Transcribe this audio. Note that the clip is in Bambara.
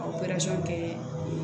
kɛ